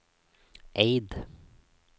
Eid